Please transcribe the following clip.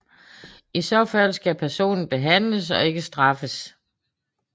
I så fald skal personen behandles og ikke straffes